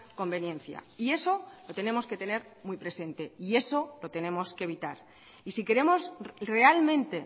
conveniencia y eso lo tenemos que tener muy presente y eso lo tenemos que evitar y si queremos realmente